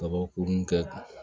Kabakurun kɛ